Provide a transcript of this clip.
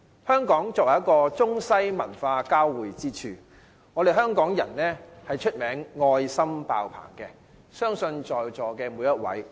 香港作為中西文化交匯之處，香港人以"愛心爆棚"見稱，相信在座每一位亦然。